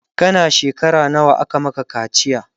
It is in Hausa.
kana shekara nawa aka Maka kaciya?